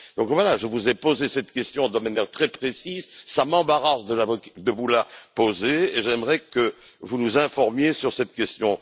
Donc voilà, je vous ai posé cette question de manière très précise, cela m'embarrasse de vous la poser et j'aimerais que vous nous informiez sur cette question.